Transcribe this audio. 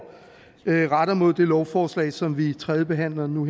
retter mod det lovforslag som vi tredjebehandler nu